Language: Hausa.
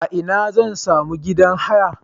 A ina zan sami gidan haya?